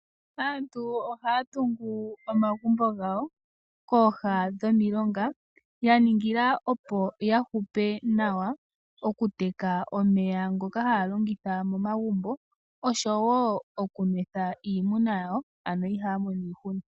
Aantu ohaya tungu omagumbo gawo kooha dhomilonga yaningila opo ya hupe nawa okuteka omeya ngoka haya longitha momagumbo osho wo okunwetha iinuma yawo, ano ihaya mono iihuna.